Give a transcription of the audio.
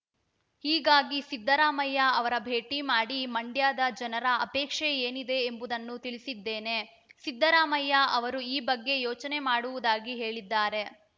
ಹೀಗಾಗಿ ಸಿದ್ದರಾಮಯ್ಯ ಅವರ ಭೇಟಿ ಮಾಡಿ ಮಂಡ್ಯದ ಜನರ ಅಪೇಕ್ಷೆ ಏನಿದೆ ಎಂಬುದನ್ನು ತಿಳಿಸಿದ್ದೇನೆ ಸಿದ್ದರಾಮಯ್ಯ ಅವರು ಈ ಬಗ್ಗೆ ಯೋಚನೆ ಮಾಡುವುದಾಗಿ ಹೇಳಿದ್ದಾರೆ